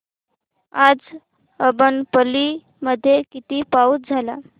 आज अब्बनपल्ली मध्ये किती पाऊस झाला